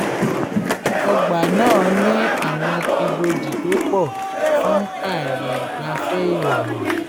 ọgbà náà ní àwọn ìbòji tó pọ̀ fún ààyè ìgbafẹ́ ìrọ̀rùn